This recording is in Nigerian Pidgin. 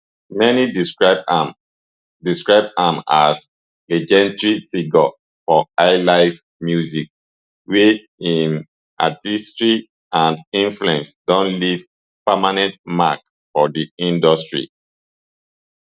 many describe am describe am as legendary figure for highlife music wey im artistry and influence don leave permanent mark for di industry